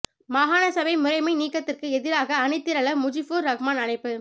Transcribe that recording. மாகாண சபை முறைமை நீக்கத்திற்கு எதிராக அணிதிரள முஜீபுர் ரஹ்மான் அழைப்பு